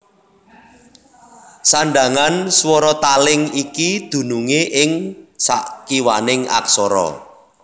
Sandhangan swara taling iki dunungé ing sakiwaning aksara